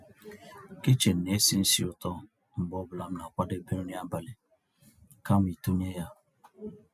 kichin ná-èsì ísí ụ̀tọ́ mgbe ọ́ bụ́là m ná-àkwàdébé nrí àbálị́ kàma ị̀tụ́nyé yá.